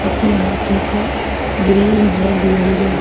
अपने हाथों से ग्रीन रेड येलो ।